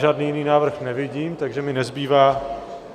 Žádný jiný návrh nevidím, takže mi nezbývá...